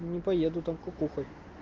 не поеду там кукухой